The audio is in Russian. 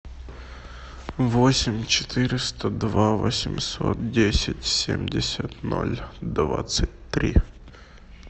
восемь четыреста два восемьсот десять семьдесят ноль двадцать три